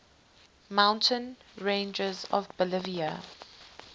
mountain ranges of bolivia